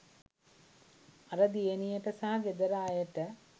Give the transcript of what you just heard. අර දියණියට සහ ගෙදර අයට